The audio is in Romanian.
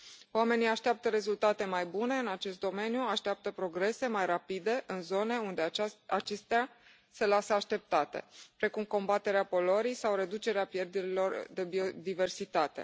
Oamenii așteaptă rezultate mai bune în acest domeniu, așteaptă progrese mai rapide în zone unde acestea se lasă așteptate, precum combaterea poluării sau reducerea pierderilor de biodiversitate.